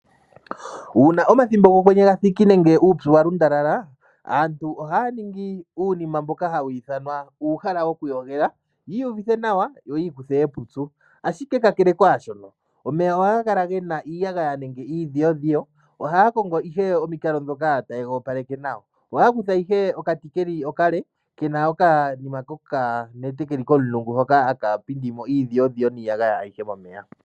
Uuna omathimbo gOkwenye ga thiki nenge uupyu wa lundalala, aantu ohaya ningi uunima mboka hawu ithanwa uuhala wokuyogela yi iyuvithe nawa, yo yi ikuthe epupyu. Ashike kakele kwaashono, omeya ohaga kala ge iiyagaya nenge iidhiyodhiyo. Ohaya kongo ihe omikalo ndhoka taye ga opaleke nawa. Ohaya kutha ashike okati ke li okale ke na okanima kokanete ke li komulungu hoka haka pindi mp iidhiyodhiyo niiyagaya ayihe momeya.